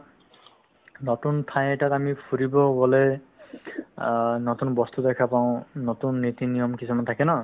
নতুন ঠাই এটাত আমি ফুৰিব গ'লে অ নতুন বস্তু দেখা পাওঁ নতুন নীতি-নিয়ম কিছুমান থাকে ন